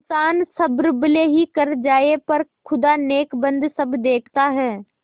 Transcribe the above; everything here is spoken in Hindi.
इन्सान सब्र भले ही कर जाय पर खुदा नेकबद सब देखता है